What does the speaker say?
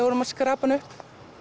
vorum að skrapa hann upp